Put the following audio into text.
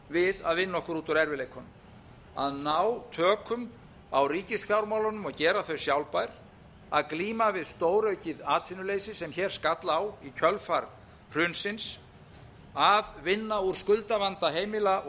við að vinna okkur út úr erfiðleikunum að ná tökum á ríkisfjármálunum og gera þau sjálfbær að glíma við stóraukið atvinnuleysi sem hér skall á í kjölfar hrunsins að vinna úr skuldavanda heimila